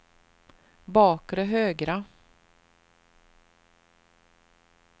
bakre högra